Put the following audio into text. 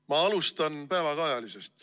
Ma alustan päevakajalisest.